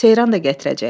Seyran da gətirəcək.